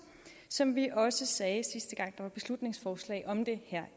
som vi også sagde sidste gang der var et beslutningsforslag om det